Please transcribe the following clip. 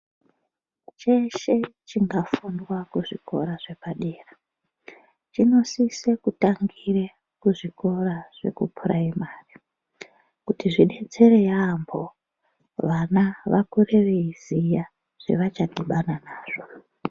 Cheshe chingafundwa kuzvikora zvepadera chinosise kutangire kuzvikora zvekupuraimari kuti zvidetsere yampho, vana vakure veiziya zvevachadhibana nazvo.